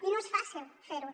i no és fàcil fer ho